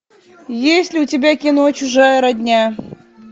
есть ли у тебя кино чужая родня